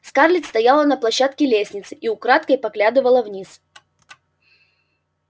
скарлетт стояла на площадке лестницы и украдкой поглядывала вниз